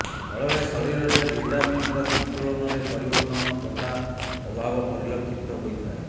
ଫଳରେ ଶରୀରରେ ଭିଟାମିନ୍ର ସନ୍ତୁଳନରେ ପରିବର୍ତ୍ତନ ତଥା ଅଭାବ ପରିଲକ୍ଷିତ ହୋଇଥାଏ